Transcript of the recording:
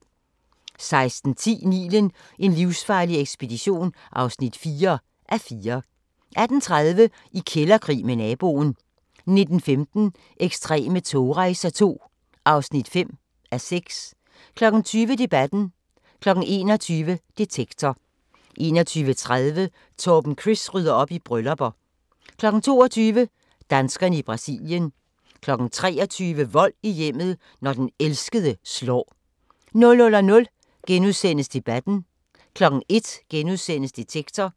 16:10: Nilen: en livsfarlig ekspedition (4:4) 18:30: I kælderkrig med naboen 19:15: Ekstreme togrejser II (5:6) 20:00: Debatten 21:00: Detektor 21:30: Torben Chris rydder op i bryllupper 22:00: Danskerne i Brasilien 23:00: Vold i hjemmet – når den elskede slår 00:00: Debatten * 01:00: Detektor *